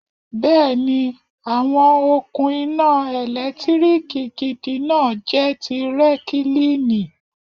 Bẹ́ẹ̀ni, àwọn okùn iná ẹ̀lẹ́tíríkì gidi náà jẹ́ ti Rẹkilinìì